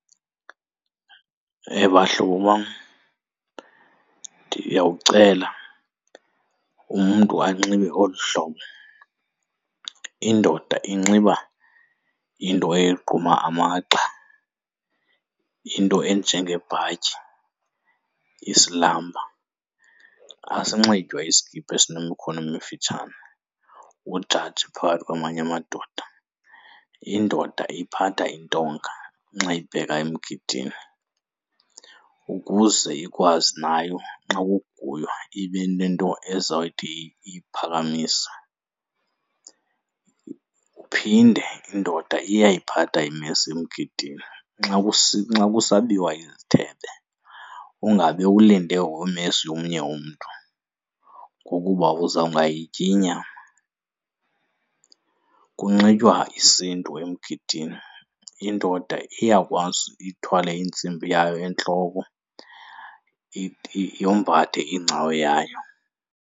Bahlobo bam, ndiyawucela umntu anxibe olu hlobo. Indoda inxiba into egquma amagxa into enjengebhatyi, isilamba. Asinxitywa iskipa esinemikhono emifitshane ujaje phakathi kwamanye amadoda. Indoda iphatha intonga xa ibheka emgidini ukuze ikwazi nayo xa kuguywa ibe nento ezoyithi iyiphakamise. Kuphinde indoda iyayiphatha imesi emgidini. Xa kusabiwa izithebe ungabe ulinde umesi womnye umntu ngokuba uzawungayityi inyama. Kunxitywa isiNtu emgidini indoda iyakwazi ithwale intsimbi yayo entloko yombathe iingcawo yayo.